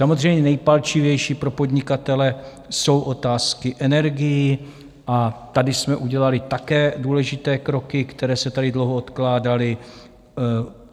Samozřejmě nejpalčivější pro podnikatele jsou otázky energií a tady jsme udělali také důležité kroky, které se tady dlouho odkládaly.